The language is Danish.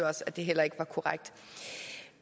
også at det heller ikke var korrekt